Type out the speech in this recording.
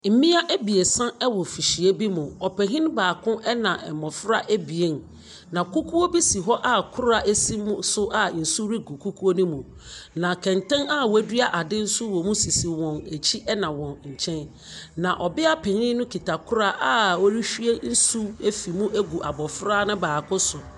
Mmea ebiasa ɛwɔ fihyia bi mu. Ɔpanyin baako ɛna mmɔfra ebien. Na kukuo bi si hɔ a kora esi mu nso a nsu regu kukuo no mu. Na kɛntɛn a wɛdua ade nso wɔmu sisi wɔn akyi ɛna wɔn nkyɛn. Na ɔbia panyin no kuta kora a ɔrewhie nsu ɛfiri mu ɛgu abofra no baako so.